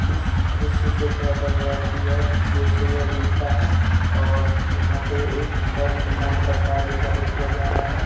इस दृश्य से पता चल रहा है कि यह दृश्य या दिन का है और यहां पर एक घर निर्माण का कार्य जारी किया जा रहा है।